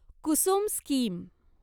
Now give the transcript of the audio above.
Kusum scheme